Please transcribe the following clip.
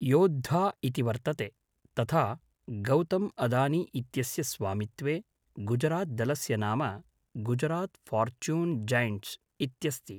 योद्धा इति वर्तते, तथा गौतम्अदानी इत्यस्य स्वामित्वे गुजरात् दलस्य नाम गुजरात् ऴार्चून् जैण्ट्स् इत्यस्ति।